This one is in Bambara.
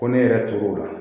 Ko ne yɛrɛ tor'o la